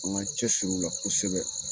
An ka cɛ siri u la kosɛbɛ